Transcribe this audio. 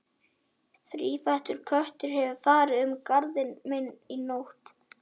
Þrífættur köttur hefur farið um garðinn minn í nótt